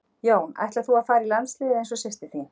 Jón: Ætlar þú að fara í landsliðið eins og systir þín?